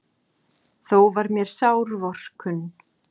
Þó var mér sár vorkunn.